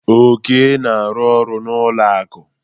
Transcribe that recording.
Oke na-arụ ọrụ n'ụlọ akụ.